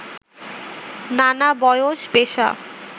নানা বয়স, পেশা